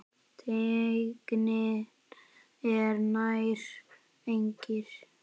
Teygnin er nær engin.